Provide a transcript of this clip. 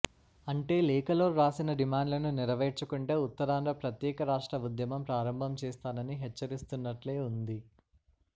అంటే లేఖలో వ్రాసిన డిమాండ్లను నెరవేర్చకుంటే ఉత్తరాంధ్ర ప్రత్యేక రాష్ట్ర ఉద్యమం ప్రారంభం చేస్తానని హెచ్చరిస్తున్నట్లే ఉంది